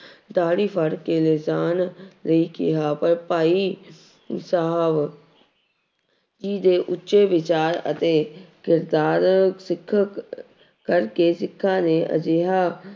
ਦਾੜੀ ਫੜ ਕੇ ਲਿਜਾਣ ਲਈ ਕਿਹਾ ਪਰ ਭਾਈ ਸਾਹਿਬ ਜੀ ਦੇ ਉੱਚੇ ਵਿਚਾਰ ਅਤੇ ਕਿਰਦਾਰ ਸਿੱਖ ਕਰਕੇ ਸਿੱਖਾਂ ਨੇ ਅਜਿਹਾ